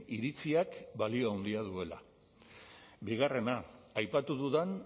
iritziak balio handia duela bigarrena aipatu dudan